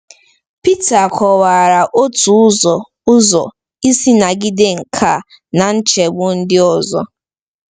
Pita kọwara otu ụzọ ụzọ isi nagide nke a na nchegbu ndị ọzọ.